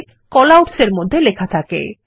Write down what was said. callouts এর মধ্যে লেখা থাকে